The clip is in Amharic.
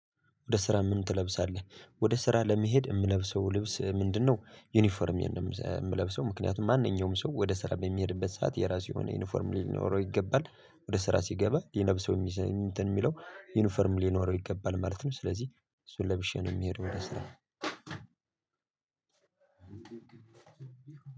ወደ ስራ ምን ትለብሳለህ ወደ ስራ ለመሄድ የምለብሰው ልብስ ምንድነው? ዩኒፎርሜን ነው የምለብሰው ምክንያቱም ማንኛውም ሰው ወደ ስራ የበሚሄድበት ሰዓት የራሱ የሆነ ዩኒፎርም ሊኖረው ይገባል ወደ ስራ ሲገባ ሊለብሰው እንትን የሚለው ዩኒፎርም ሊኖረው ይገባል ማለት ነው። ስለዚህ እሱን ለብሼ ነው የምሄደው ወደ ስራ።